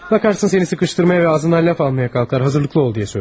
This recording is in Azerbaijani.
Baxarsan səni sıxışdırmağa və ağzından ləf almağa qalxar, hazırlıqlı ol.